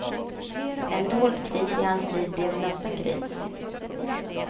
En dold kris i hans liv blev en öppen kris.